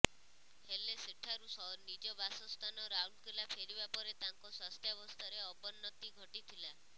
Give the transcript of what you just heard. ହେଲେ ସେଠାରୁ ନିଜ ବାସସ୍ଥାନ ରାଉରକେଲା ଫେରିବା ପରେ ତାଙ୍କ ସ୍ୱାସ୍ଥ୍ୟାବସ୍ଥାରେ ଅବନ୍ନତି ଘଟିଥିଲା